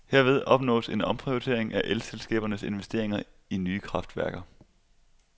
Herved opnås en omprioritering af elselskabernes investeringer i nye kraftværker.